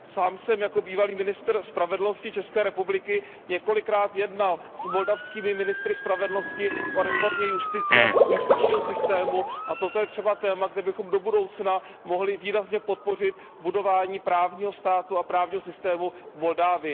Sám jsem jako bývalý ministr spravedlnosti České republiky několikrát jednal s moldavskými ministry spravedlnosti o reformě justice, justičního systému, a toto je třeba téma, kde bychom do budoucna mohli výrazně podpořit budování právního státu a právního systému v Moldavsku.